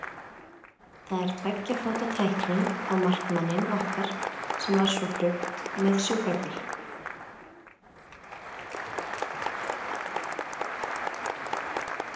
Þar er tveggja fóta tækling á markmanninn okkar sem var svo flutt með sjúkrabíl.